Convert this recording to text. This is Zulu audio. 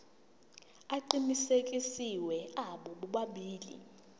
aqinisekisiwe abo bobabili